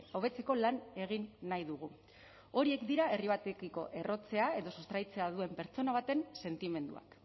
hobetzeko lan egin nahi dugu horiek dira herri batekiko errotzea edo sustraitzea duen pertsona baten sentimenduak